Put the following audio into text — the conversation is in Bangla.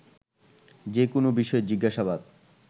যেকোনো বিষয়ে জিজ্ঞাসাবাদ